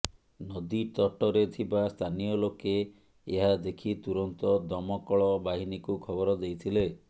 ନଦୀତଟରେ ଥିବା ସ୍ଥାନୀୟ ଲୋକେ ଏହା ଦେଖି ତୁରନ୍ତ ଦମକଳ ବାହିନୀକୁ ଖବର ଦେଇଥିଲେ